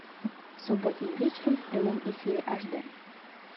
субботним вечером в прямом эфире аш дэ